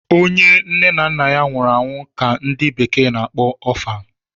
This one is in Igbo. onye nne na nna nwuru anwu ka ndi bekee na-akpọ Orphan